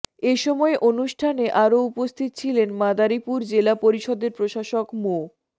এ সময় অনুষ্ঠানে আরো উপস্থিত ছিলেন মাদারীপুর জেলা পরিষদের প্রশাসক মো